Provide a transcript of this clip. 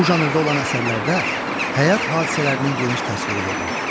Bu janrda olan əsərlərdə həyat hadisələrinin geniş təsviri verilir.